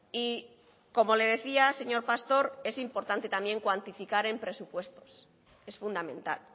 y como le decía señor pastor es importante también cuantificar en presupuestos es fundamental